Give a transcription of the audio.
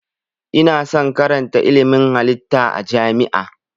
Ina son karatan ilmin halitta a jami'a